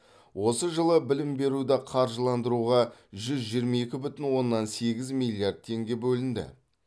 осы жылы білім беруді қаржыландыруға жүз жиырма екі бүтін оннан сегіз миллиард теңге бөлінді